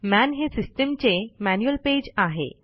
मन हे सिस्टीमचे मॅन्युअल पेज आहे